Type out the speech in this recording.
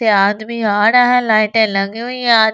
से आदमी आ रहा है लाइटें लगी हुई है आज--